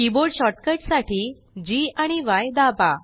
keyboard shortcut साठी Gआणि य दाबा